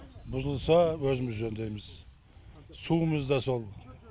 бұзылса өзіміз жөндейміз суымыз да сол